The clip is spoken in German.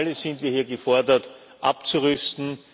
Alle sind wir hier gefordert abzurüsten